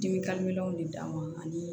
Dimi de d'a ma ani